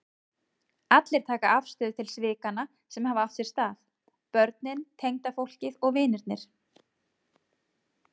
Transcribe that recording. Allir taka afstöðu til svikanna sem hafa átt sér stað, börnin, tengdafólkið, vinirnir.